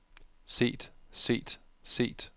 set set set